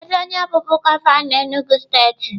Kedu onye bụbu gọvanọ Enugwu steeti?